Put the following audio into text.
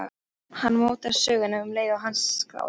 Hann mótar söguna um leið og hann skráir.